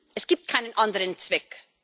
er hat keinen anderen Zweck.